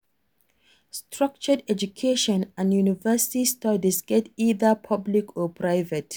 Structured education and university studies get either public or private